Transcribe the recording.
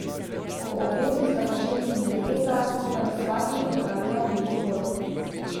Po obredu sta se ženin in nevesta skupaj s svati odpravila v Beli dvor.